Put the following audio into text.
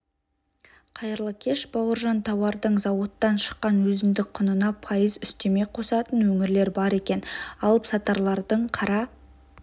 қайырлы кеш бауыржан тауардың зауыттан шыққан өзіндік құнына пайыз үстеме қосатын өңірлер бар екен алыпсатарлардың қара